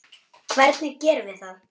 Hvernig gerum við það?